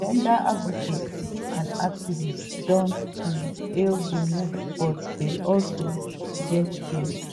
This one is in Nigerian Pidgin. gender advocates and activists don um hail di move but dey also gat fears.